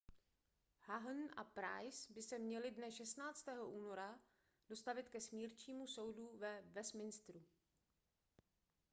huhne a pryce by se měli dne 16. února dostavit ke smírčímu soudu ve westminsteru